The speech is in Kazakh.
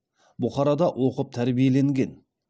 бұхарада оқып тәрбиеленген